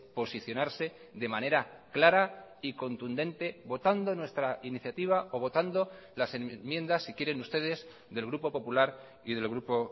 posicionarse de manera clara y contundente votando nuestra iniciativa o votando las enmiendas si quieren ustedes del grupo popular y del grupo